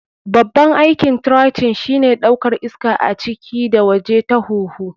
Babban aikin trachea shine ɗaukar iska a ciki da waje ta huhu.